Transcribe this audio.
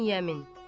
İbn Yemin.